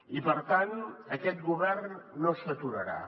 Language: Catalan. i per tant aquest govern no s’aturarà